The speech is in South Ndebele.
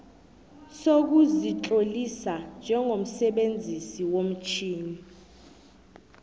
sokuzitlolisa njengomsebenzisi womtjhini